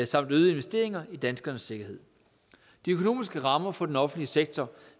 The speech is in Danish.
samt øgede investeringer i danskernes sikkerhed de økonomiske rammer for den offentlige sektor